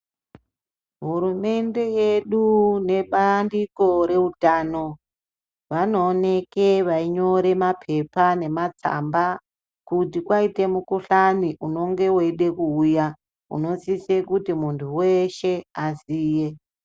Hurumende yedu nebandiko reutano vanoonekw veinyore mapepa nematsamba kuti kwaite mukhuhlani unenge weide kuuya unosise kuti muntu weshe aziye.